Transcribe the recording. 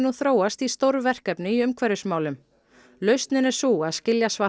þróast í stórverkefni í umhverfismálum lausnin er sú að skilja